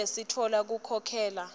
kute sitfola kukhokhela